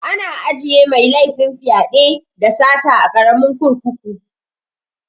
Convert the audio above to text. Ana ajiye mai laifin fyaɗe, da sata a karamin kurkuku